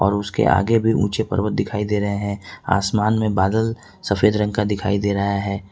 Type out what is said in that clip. और उसके आगे भी पर्वत दिखाई दे रहे हैं आसमान में बादल सफेद रंग का दिखाई दे रहा है।